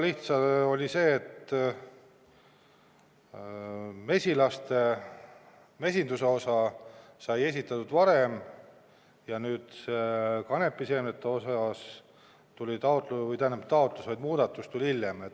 Lihtsalt oli sedasi, et mesilaste ja mesinduse osa sai esitatud varem ja kanepiseemnete osas tuli muudatus hiljem.